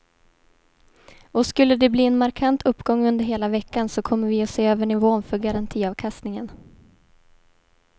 Och skulle de bli en markant uppgång under hela veckan så kommer vi att se över nivån för garantiavkastningen.